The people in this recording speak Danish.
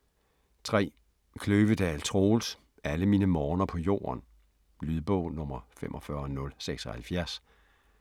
3. Kløvedal, Troels: Alle mine morgener på jorden Lydbog 45076